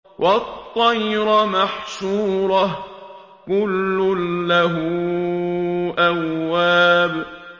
وَالطَّيْرَ مَحْشُورَةً ۖ كُلٌّ لَّهُ أَوَّابٌ